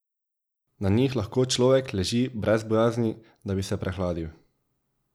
Na njih lahko človek leži brez bojazni, da bi se prehladil.